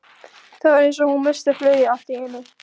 Það var eins og hún missti flugið allt í einu.